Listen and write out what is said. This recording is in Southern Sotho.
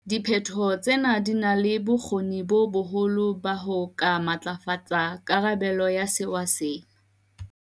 Diphetho tsena di na le bokgoni bo boholo ba ho ka matlafatsa karabelo ya sewa sena.